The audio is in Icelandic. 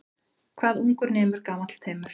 Hvað ungur nemur gamall temur.